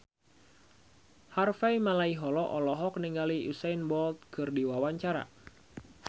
Harvey Malaiholo olohok ningali Usain Bolt keur diwawancara